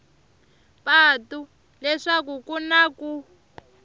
patu leswaku ku na ku